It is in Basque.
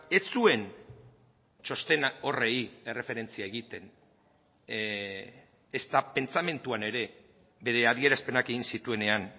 ez zuen txostena horri erreferentzia egiten ezta pentsamenduan ere bere adierazpenak egin zituenean